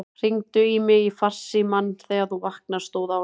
Hringdu í mig í farsímann þegar þú vaknar, stóð á honum.